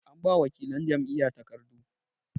an ba wakilan Jam'iyya takardu